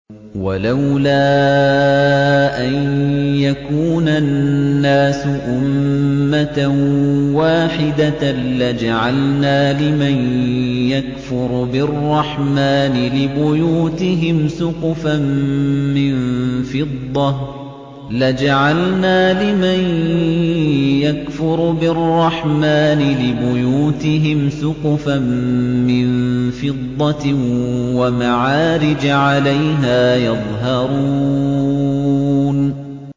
وَلَوْلَا أَن يَكُونَ النَّاسُ أُمَّةً وَاحِدَةً لَّجَعَلْنَا لِمَن يَكْفُرُ بِالرَّحْمَٰنِ لِبُيُوتِهِمْ سُقُفًا مِّن فِضَّةٍ وَمَعَارِجَ عَلَيْهَا يَظْهَرُونَ